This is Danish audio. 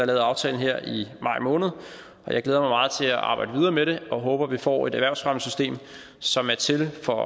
lavet aftalen her i maj måned og jeg glæder mig meget til at arbejde videre med det og håber at vi får et erhvervsfremmesystem som er til for